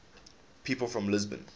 people from lisbon